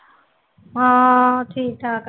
ਹਾਂ ਠੀਕ ਠਾਕ ਆ